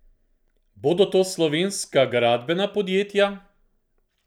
Bodo to slovenska gradbena podjetja?